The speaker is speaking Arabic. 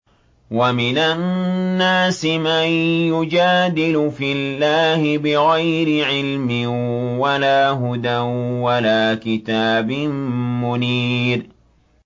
وَمِنَ النَّاسِ مَن يُجَادِلُ فِي اللَّهِ بِغَيْرِ عِلْمٍ وَلَا هُدًى وَلَا كِتَابٍ مُّنِيرٍ